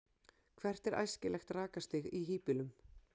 hvert er æskilegt rakastig í hýbýlum